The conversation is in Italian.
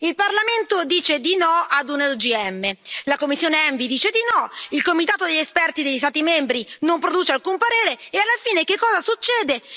Il Parlamento dice di no ad un OGM, la commissione ENVI dice di no, il comitato di esperti degli Stati membri non produce alcun parere e alla fine che cosa succede?